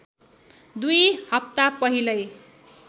दुई हप्ता पहिलै